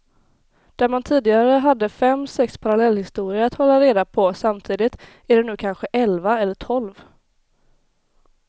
Där man tidigare hade fem sex parallellhistorier att hålla reda på samtidigt är det nu kanske elva eller tolv.